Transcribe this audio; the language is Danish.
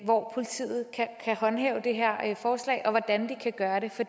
hvor politiet kan håndhæve det her forslag og hvordan de kan gøre det for